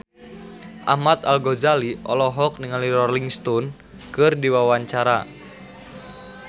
Ahmad Al-Ghazali olohok ningali Rolling Stone keur diwawancara